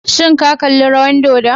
Shin kalli rawar dodon?